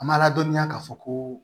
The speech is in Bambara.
An ma ladɔnniya k'a fɔ ko